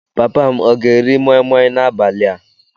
Papa m ga-eri moi Moi n'abalị a?